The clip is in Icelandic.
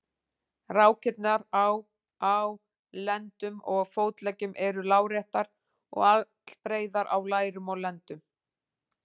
Rákirnar á á lendum og fótleggjum eru láréttar og allbreiðar á lærum og lendum.